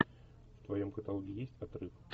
в твоем каталоге есть отрыв